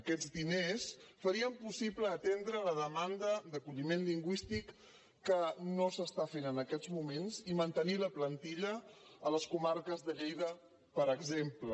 aquests diners farien possible atendre la de·manda d’acolliment lingüístic que no es fa en aquests moments i mantenir la plantilla a les comarques de lleida per exemple